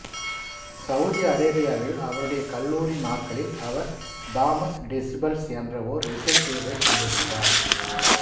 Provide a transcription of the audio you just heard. Saudi அரேபியாவில் அவருடைய கல்லூரி நாட்களில் அவர் தாமஸ் டெசிபல்ஸ் என்ற ஓர் இசைக்குழுவைக் கொண்டிருந்தார்